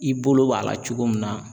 I bolo b'a la cogo min na